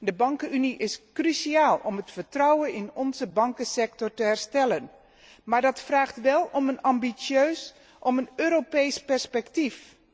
De bankunie is cruciaal om het vertrouwen in onze bankensector te herstellen, maar dat vraagt wel om een ambitieus Europees perspectief.